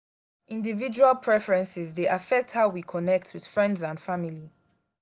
individual preferences dey affect how we connect with friends and family.